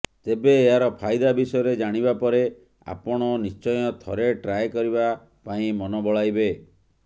ତେବେ ଏହାର ଫାଇଦା ବିଷୟରେ ଜାଣିବା ପରେ ଆପଣ ନିଶ୍ଚୟ ଥରେ ଟ୍ରାଏ କରିବା ପାଇଁ ମନ ବଳାଇବେ